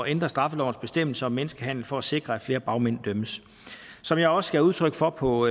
ændre straffelovens bestemmelse om menneskehandel for at sikre at flere bagmænd dømmes som jeg også gav udtryk for på